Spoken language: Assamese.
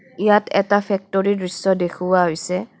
ইয়াত এটা ফেক্টৰী ৰ দৃশ্য দেখুওৱা হৈছে.